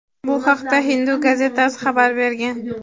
Bu haqda "Hindu" gazetasi xabar bergan.